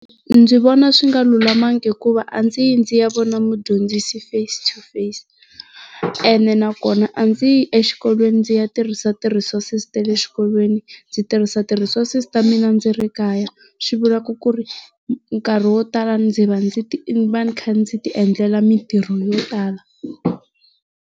Ndzi vona swi nga lulamanga hikuva a ndzi yi ndzi ya vona mudyondzisi face-to-face, ene nakona a ndzi yi exikolweni ndzi ya tirhisatirhisa ti resources ta le xikolweni, ndzi tirhisa ti resources ta mina ndzi ri ekaya swi vulaka ku ri nkarhi wo tala ndzi va ndzi ti ni va ni kha ndzi ti endlela mitirho yo tala.